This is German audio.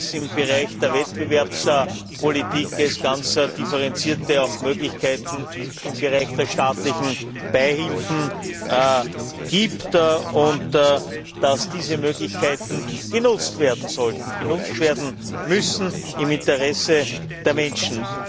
im Bereich der Wettbewerbspolitik ganz differenzierte Möglichkeiten im Bereich der staatlichen Beihilfen gibt und dass diese Möglichkeiten genutzt werden sollten, genutzt werden müssen im Interesse der Menschen.